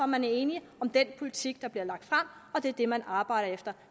man er enige om den politik der bliver lagt frem og det er det man arbejder efter